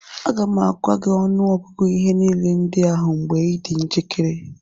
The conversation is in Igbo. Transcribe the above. Aga m agwa gị ọnụọgụgụ ihe niile ndị ahụ mgbe ị dị njikere